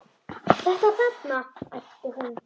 Þetta þarna, æpti hún.